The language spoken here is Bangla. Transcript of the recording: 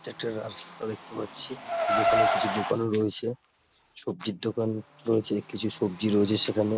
এটা একটা রাস্তা দেখতে পাচ্ছি। যেখানে কিছু দোকানও রয়েছে। সব্জির দোকান রয়েছে। কিছু সব্জি রয়েছে সেখানে।